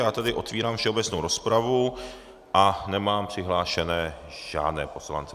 Já tedy otevírám všeobecnou rozpravu a nemám přihlášené žádné poslance.